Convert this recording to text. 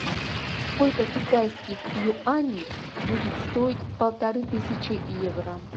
сколько китайских юаней будет стоить полторы тысячи евро